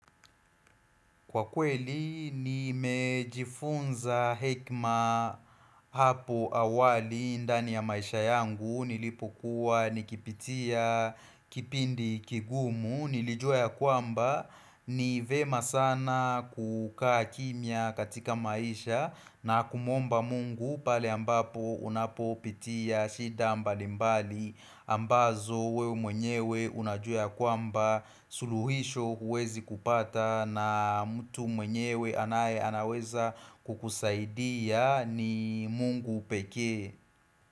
Kwa kweli, nimejifunza hekima hapo awali ndani ya maisha yangu, nilipokuwa nikipitia kipindi kigumu, nilijua ya kwamba, nivyema sana kukaa kimya katika maisha na kumwomba mungu pale ambapo unapopitia shida mbalimbali ambazo wewe mwenyewe unajua kwamba suluhisho huwezi kupata na mtu mwenyewe anaye anaweza kukusaidia ni mungu pekee.